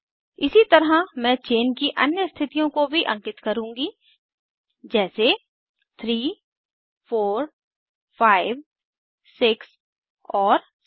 इसी तरह मैं चेन की अन्य स्थितियों को भी अंकित करुँगी जैसे 3 4 5 6 और 7